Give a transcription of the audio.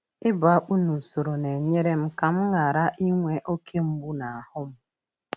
Ịbu akpụ n’usoro na-enyere m ka m ghara inwe oke mgbu n’ahụ.